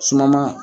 Suma